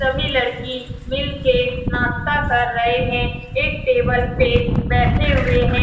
सभी लड़की मील के नास्ता कर रहे हैं एक टेबल पे बैठे हुए है ।